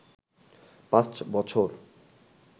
পাঁচ বছর